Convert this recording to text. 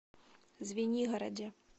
звенигороде